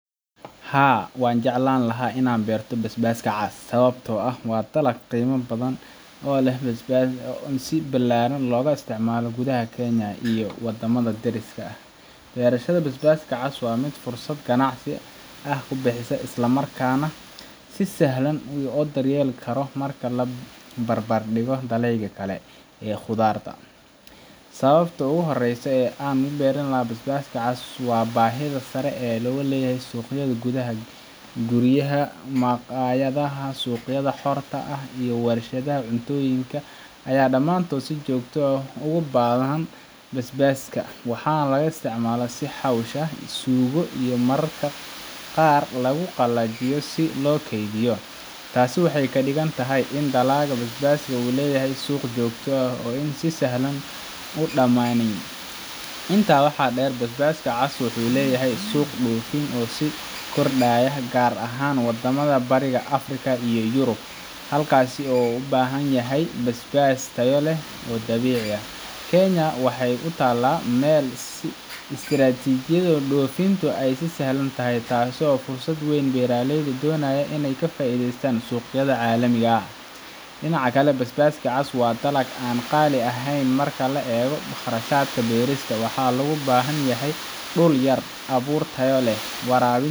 Haa, waxaan jeclaan lahaa in aan beero basbaaska cas, sababtoo ah waa dalag qiimo badan leh oo si ballaaran looga isticmaalo gudaha Kenya iyo waddamada deriska ah. Beerashada basbaaska cas waa mid fursad ganacsi ah ka bixisa, isla markaana si sahlan loo daryeeli karo marka loo barbardhigo dalagyada kale ee khudradda ah. Sababta ugu horreysa ee aan ku beerilahaa basbaaska cas waa baahida sare ee uu ku leeyahay suuqyada gudaha. Guryaha, maqaayadaha, suuqyada xorta ah iyo wershadaha cuntooyinka ayaa dhammaantood si joogto ah ugu baahan basbaas, waxaana la isticmaalaa sidii xawaash, suugo iyo mararka qaar lagu qalajiyo si loo keydiyo. Taasi waxay ka dhigan tahay in dalagga basbaaska uu leeyahay suuq joogto ah oo aan si sahlan u dhamaanayn. Intaa waxaa dheer, basbaaska cas wuxuu leeyahay suuq dhoofin oo sii kordhaya, gaar ahaan wadamada Bariga Afrika iyo Yurub, halkaas oo loo baahan yahay basbaas tayo leh oo dabiici ah. Kenya waxay ku taallaa meel istiraatiiji ah oo dhoofintu ay u sahlan tahay, taasoo fursad weyn u ah beeraleyda doonaya inay ka faa’iidaystaan suuqyada caalamiga ah. Dhinaca kale, basbaaska cas waa dalag aan qaali ku ahayn marka la eego kharashaadka beerista. Waxaa loo baahan yahay dhul yar, abuur tayo leh, waraabin